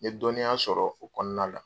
N ye dɔnniya sɔrɔ o kɔnɔna la